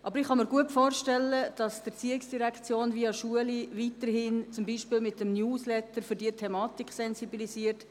Aber ich kann mir gut vorstellen, dass die ERZ die Schulen weiterhin, zum Beispiel via Newsletter, für diese Thematik sensibilisiert.